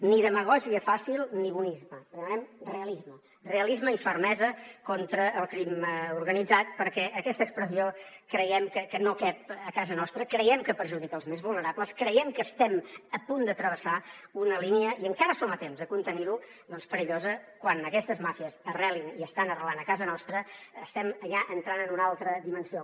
ni demagògia fàcil ni bonisme li demanem realisme realisme i fermesa contra el crim organitzat perquè aquesta expressió creiem que no cap a casa nostra creiem que perjudica els més vulnerables creiem que estem a punt de travessar una línia i encara som a temps de contenir ho doncs perillosa quan aquestes màfies arrelin i estan arrelant a casa nostra estem ja entrant en una altra dimensió